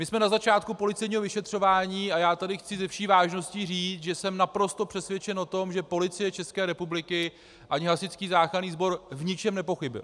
My jsme na začátku policejního vyšetřování a já tady chci se vší vážností říct, že jsem naprosto přesvědčen o tom, že Policie České republiky ani Hasičský záchranný sbor v ničem nepochybily.